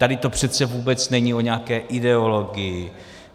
Tady to přece vůbec není o nějaké ideologii.